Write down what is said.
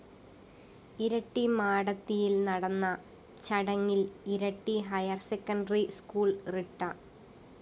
ഇരിട്ടി മാടത്തിയില്‍ നടന്ന ചടങ്ങില്‍ ഇരിട്ടി ഹയര്‍സെക്കണ്ടറി സ്കൂൾ റിട്ട